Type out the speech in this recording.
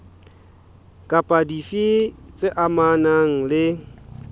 kapa dife tse amanang le